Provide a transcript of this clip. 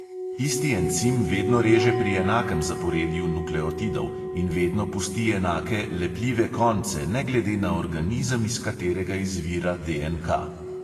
Isti encim vedno reže pri enakem zaporedju nukleotidov in vedno pusti enake "lepljive konce" ne glede na organizem, iz katerega izvira DNK.